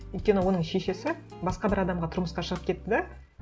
өйткені оның шешесі басқа бір адамға тұрмысқа шығып кетті де